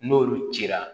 N'olu cira